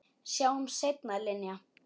Sjáumst seinna, Linja.